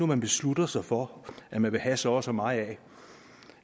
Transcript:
man beslutter sig for at ville have så og så meget af